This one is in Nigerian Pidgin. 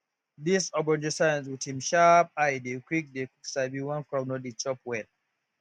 dis ogbonge science wit him sharp eye dey quick dey quick sabi wen crop no dey chop well